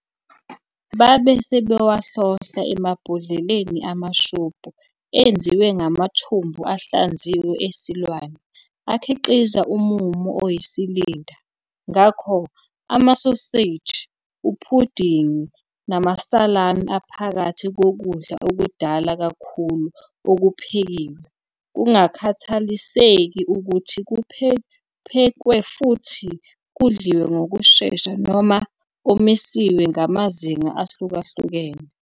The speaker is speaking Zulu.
Babe sebewahlohla emabhodleleni amashubhu enziwe ngamathumbu ahlanziwe esilwane, akhiqiza umumo oyisilinda. Ngakho, amasoseji, uphudingi, namasalami aphakathi kokudla okudala kakhulu okuphekiwe, kungakhathaliseki ukuthi kuphekwe futhi kudliwe ngokushesha noma omisiwe ngamazinga ahlukahlukene.